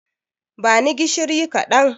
Bani gishiri kaɗan